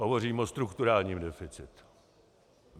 Hovořím o strukturálním deficitu.